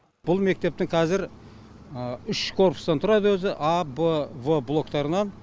бұл мектептің қазір үш корпустан тұрады өзі а б в блоктарынан